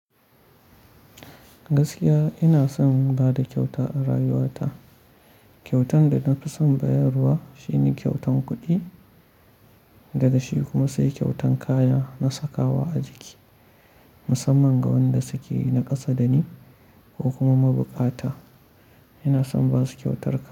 Gaskiya ina son bada kyauta a rayuwa ta kyautan da na fi son bayarwa shine kyautan kuɗi, daga shi kuma sai kyautan kaya na sakawa a jiki, musamman ga wanda suke na ƙasa dani, ko kuma mabukata. Ina son ba su kyautarka.